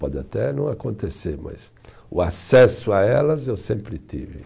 Pode até não acontecer, mas o acesso a elas eu sempre tive.